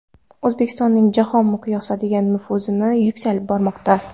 O‘zbekistonning jahon miqyosidagi nufuzi yuksalib bormoqda.